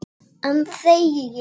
Enn þegi ég.